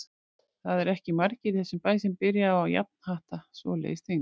Það eru ekki margir í þessum bæ sem byrja á að jafnhatta svoleiðis þyngd.